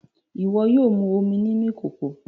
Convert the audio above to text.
Iwọ yóò mú omí nínú ìkòkò!